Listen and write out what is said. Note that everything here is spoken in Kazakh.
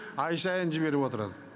ай сайын жіберіп отырады